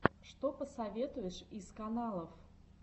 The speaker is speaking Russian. что посоветуешь из каналов